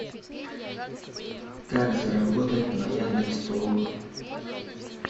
как заработать на яндекс толока